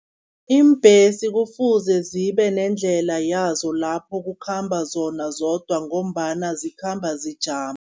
Iimbhesi kufuze zibe nendlela yazo lapho kukhamba zona zodwa, ngombana zikhamba zijama.